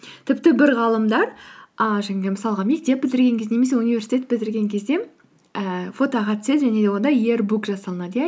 тіпті бір ғалымдар ааа жаңағы мысалға мектеп бітірген кезде немесе университет бітірген кезде ііі фотоға түседі және де онда иер бук жасалынады иә